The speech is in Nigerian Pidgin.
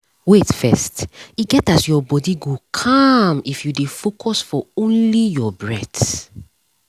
wait first e get as your body go calm if you dey focus for only your breath